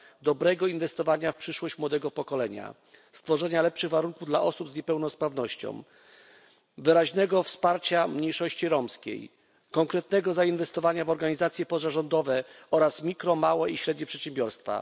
dobrego inwestowania w przyszłość młodego pokolenia, stworzenia lepszych warunków dla osób z niepełnosprawnością, wyraźnego wsparcia mniejszości romskiej, konkretnego zainwestowania w organizacje pozarządowe oraz w mikro małe i średnie przedsiębiorstwa.